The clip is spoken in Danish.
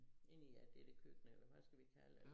Inde i ja dér ved køkkenet eller hvad skal vi kalde øh